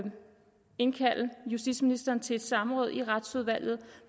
indkalde justitsministeren til et samråd i retsudvalget